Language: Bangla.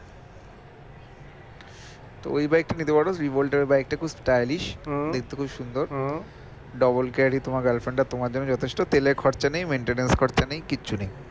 তো ওই bike টা নিতে পারো rebolt এর bike টা খুব stylish দেখতে খুব সুন্দর double carry তোমার girlfriend আর তোমার জন্য যথেষ্ট, তেলের খরচা নেই maintenance খরচা নেই কিছু নেই